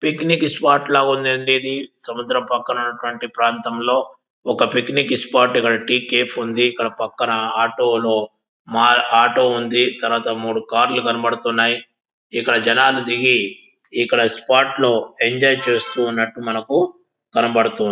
Picnic spot ల ఉంది అంది. ఇది సముద్రం పక్కన నటువంటి ప్రాంతంలో ఒక పిక్నిక్ స్పార్ట్ టీ కేఫ్ ఉంది. ఇక్కడ పక్కన ఆటో లో ఆటో ఉంది. తరువాత మూడు కార్ లు కనబడుతున్నాయి. ఇక్కడ జనాలు దిగి ఇక్కడ స్పర్ట్ లో ఎంజోయ్ చేస్తూ ఉన్నట్టు మనకి కనబడుతుంది.